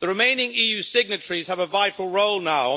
The remaining EU signatories have a vital role now.